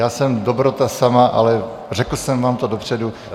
Já jsem dobrota sama, ale řekl jsem vám to dopředu.